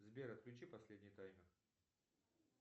сбер отключи последний таймер